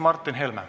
Martin Helme.